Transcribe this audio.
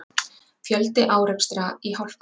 Fjöldi árekstra í hálkunni